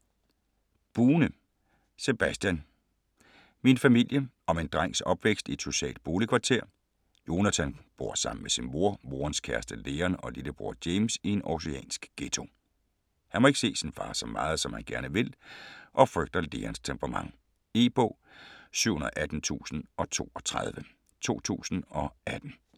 Bune, Sebastian: Min familie Om en drengs opvækst i et socialt boligkvarter. Jonathan bor sammen med sin mor, morens kæreste Leon og lillebror James i en århusiansk ghetto. Han må ikke se sin far så meget, som han gerne vil, og frygter Leons temperament. E-bog 718032 2018.